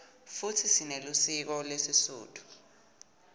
futsi sinelisiko lesisutfu